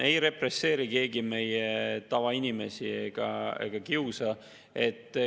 Ei represseeri ega kiusa meie tavainimesi keegi.